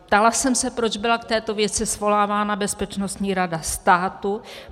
Ptala jsem se, proč byla k této věci svolávána Bezpečnostní rada státu.